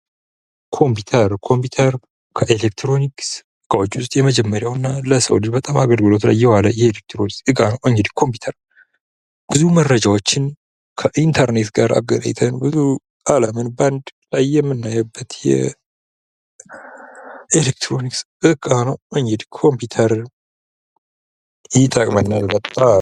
ኮምፒዩተር ከኤሌክትሮኒክስ ዕቃዎች ውስጥ የመጀመሪያው እና ለሰው ልጅ በጣም አገልግሎት ላይ የዋለ የኤሌክትሮኒክ እቃ ነው ።እንግዲህ ኮምፒውተር ብዙ መረጃዎችን ከኢንተርኔት ጋር አገናኝተን ብዙ አለምን በአንድ ላይ የምናይበት የኤሌክትሮኒክስ ዕቃ ነው ።እንግዲህ ኮምፒውተር ይጠቅመናል በጣም።